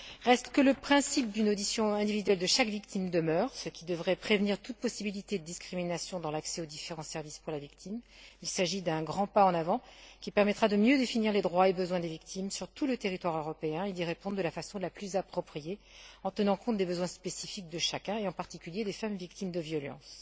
Reste que le principe d'une audition individuelle de chaque victime demeure, ce qui devrait prévenir tout risque de discrimination dans l'accès des victimes aux différents services. Il s'agit d'un grand pas en avant, qui permettra de mieux définir les droits et besoins des victimes sur tout le territoire européen et d'y répondre de la façon la plus appropriée, en tenant compte des besoins spécifiques de chacun et, en particulier, des femmes victimes de violences.